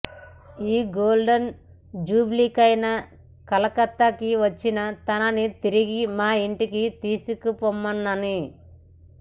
ఈ గోల్డెన్ జూబ్లికైనా కలకత్తాకి వచ్చి తనని తిరిగి మా ఇంటికి తీసుకుపోమ్మని